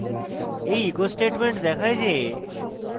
এই echo statement দেখায় যে